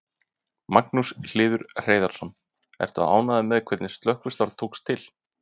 Magnús Hlynur Hreiðarsson: Ertu ánægður með hvernig slökkvistarf tókst til?